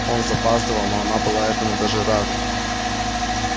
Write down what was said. он запаздывал но она была этому даже рада